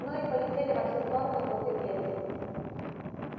ну и полетели во все-то стороны круты перья